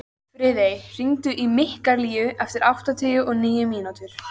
Friðey, hringdu í Mikkalínu eftir áttatíu og níu mínútur.